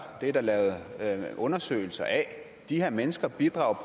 det er der lavet undersøgelser af de her mennesker bidrager